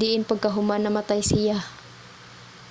diin pagkahuman namatay siya